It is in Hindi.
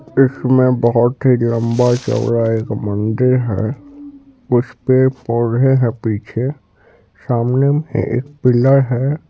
इसमें बहुत ही लम्बा-चौड़ा एक मंदिर है उसपे पौधे हैं पीछे सामने एक पिलर है।